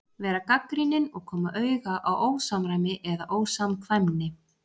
Vera gagnrýnin og koma auga á ósamræmi eða ósamkvæmni.